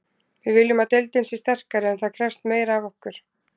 Við viljum að deildin sé sterkari en það krefst meira af okkur.